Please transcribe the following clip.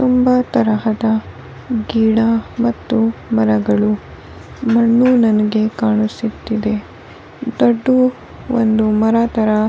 ತುಂಬಾ ತರಹದ ಗಿಡ ಮತ್ತು ಮರಗಳು ಮಣ್ಣು ನನಗೆ ಕಾಣಿಸುತ್ತಿದೆ ದಟೂ ಒಂದು ಮರ ತರ --